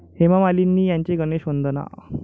हेमामालिनी यांची 'गणेश वंदना'